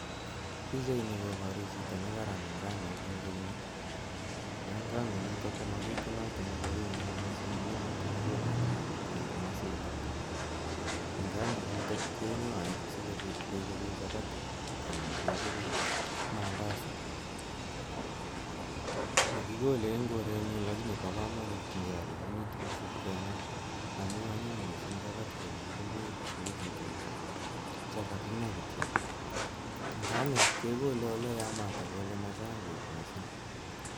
Pichaini koboru chito nekaram nganuk en eunek, ko en nganuk chuton komabitunat en korenyun mising amun motokikole nganuk en komositok, nganuk chuton keng'oee asikobit kechoben chapati anan kechoben mandazi, mokikolee en korenyun lakini bokomonut ngeal akisip keng'aa amun anyiny mising chapati chekokichoben tukuchuton chuu chekaking'aa chekokichoben tukuchuton chuu chekaking'a kityok nganuk kekole en oleyamata ako olemachang beek mising.